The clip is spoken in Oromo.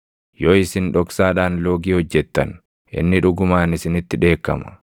Yoo isin dhoksaadhaan loogii hojjettan, inni dhugumaan isinitti dheekkama.